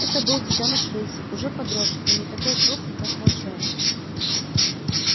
это был детёныш рыси уже подросший но не такой крупный как волчонок